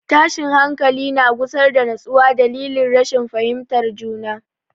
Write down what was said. Tashin hankali na gusar da nutsuwa dalilin rashin fahimtar juna.